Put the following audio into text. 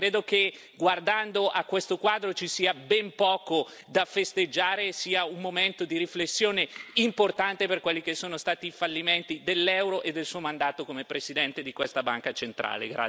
Ecco, credo che guardando a questo quadro ci sia ben poco da festeggiare, e sia un momento di riflessione importante per quelli che sono stati i fallimenti dell'euro e del suo mandato come Presidente di questa Banca centrale.